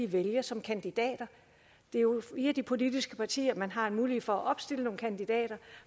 vælges som kandidater det er jo via de politiske partier man har en mulighed for at opstille nogle kandidater